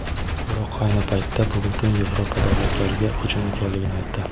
biroq ayni paytda bu butun Yevropa davlatlariga hujum ekanligini aytdi.